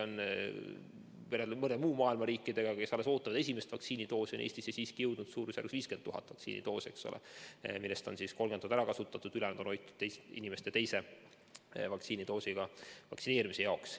Kui võrrelda mõnede muu maailma riikidega, kes alles ootavad esimest vaktsiinidoosi, siis Eestisse on siiski jõudnud suurusjärgus 50 000 vaktsiinidoosi, millest 30 000 on ära kasutatud ja ülejäänuid hoitakse inimestele teise doosi süstimiseks.